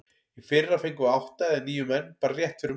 Í fyrra fengum við átta eða níu menn bara rétt fyrir mót.